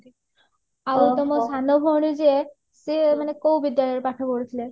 ଆଉ ତମ ସାନ ଭଉଣୀ ଯିଏ ସେ ମାନେ କୋଉ ବିଦ୍ୟାଳୟରେ ପାଠ ପଢୁଥିଲେ